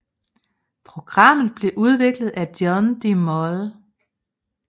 Programmet blev udviklet af John de Mol